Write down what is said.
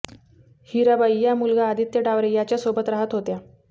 हिराबाई या मुलगा आदित्य डावरे याच्या सोबत राहत होत्या